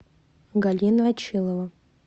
галина очилова